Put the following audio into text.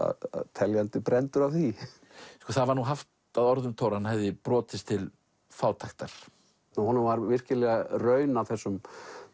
teljandi brenndur af því það var nú haft á orði um Thor að hann hefði brotist til fátæktar honum var virkilega raun af þessum